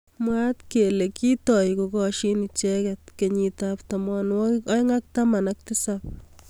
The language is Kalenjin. Mwaat kele kitoi kokashin icheket kenyit ab tamwanwakik aeng ak taman ak tisab.